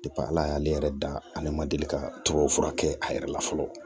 ala y'ale yɛrɛ da ale ma deli ka tubabu fura kɛ a yɛrɛ la fɔlɔ